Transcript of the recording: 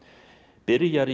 byrjar í